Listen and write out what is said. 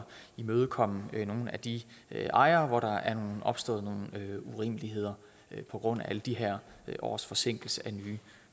imødekomme nogle af de ejere hvor der er opstået nogle urimeligheder på grund af alle de her års forsinkelse af nye